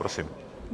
Prosím.